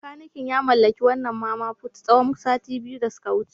Makanikin ya mallaki wannan Mama Put tsawon sati biyu da suka wuce.